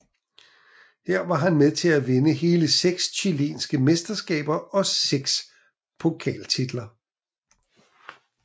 Her var han med til at vinde hele seks chilenske mesterskaber og seks pokaltitler